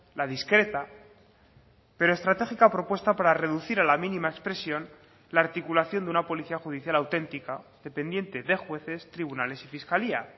la discreta pero estratégica propuesta para reducir a la mínima expresión la articulación de una policía judicial auténtica dependiente de jueces tribunales y fiscalía